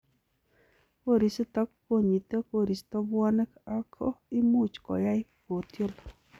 Korisiton konyite koristo bwonek ako imuch koyai kotiol.